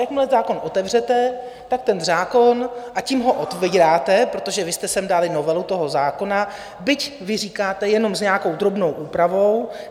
Jakmile zákon otevřete, tak ten zákon, a tím ho otevíráte, protože vy jste sem dali novelu toho zákona, byť vy říkáte jenom s nějakou drobnou úpravou.